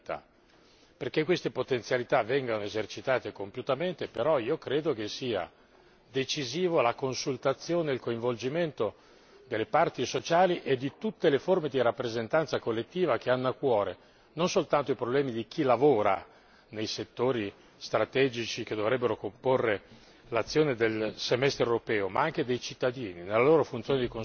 Perché queste potenzialità vengano esercitate compiutamente, però, io credo che siano decisivi la consultazione e il coinvolgimento delle parti sociali e di tutte le forme di rappresentanza collettiva che hanno a cuore non soltanto i problemi di chi lavora nei settori strategici che dovrebbero comporre l'azione del Semestre europeo, ma anche dei cittadini, nella loro funzione di consumatori.